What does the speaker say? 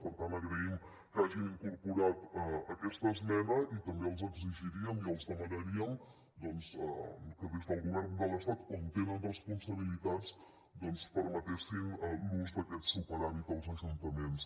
per tant agraïm que hagin incorporat aquesta esmena i també els exigiríem i els demanaríem que des del govern de l’estat on tenen responsabilitats doncs permetessin l’ús d’aquest superàvit als ajuntaments